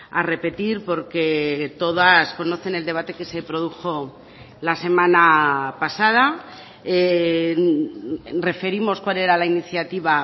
a repetir porque todas conocen el debate que se produjo la semana pasada referimos cuál era la iniciativa